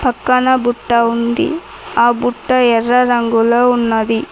పక్కన బుట్ట ఉంది ఆ బుట్ట ఎర్ర రంగులో ఉన్నది.